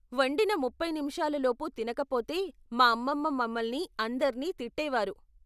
వండిన ముప్పై నిముషాలు లోపు తినకపోతే మా అమ్మమ్మ మమల్ని అందరిని తిట్టేవారు.